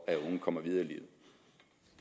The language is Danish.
at unge kommer videre i